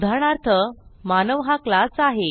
उदाहरणार्थ मानव हा क्लास आहे